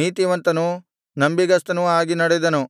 ನೀತಿವಂತನೂ ನಂಬಿಗಸ್ತನೂ ಆಗಿ ನಡೆದನು